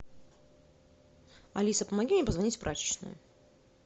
алиса помоги мне позвонить в прачечную